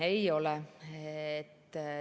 Ei ole!